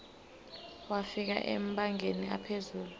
wafika emabangeni aphezulu